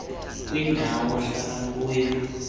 kwindawo ohlala kuyo